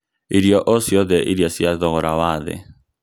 irio o cĩothe iria cia thogora wa thĩ